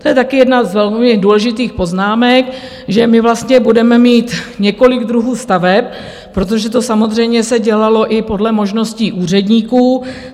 To je taky jedna z velmi důležitých poznámek, že my vlastně budeme mít několik druhů staveb, protože to samozřejmě se dělalo i podle možností úředníků.